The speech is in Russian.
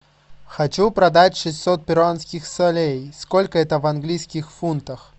хочу продать шестьсот перуанских солей сколько это в английских фунтах